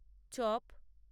chop